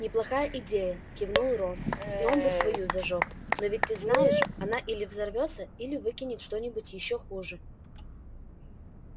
неплохая идея кивнул рон и он бы свою зажёг но ты ведь знаешь она или взорвётся или выкинет что-нибудь ещё хуже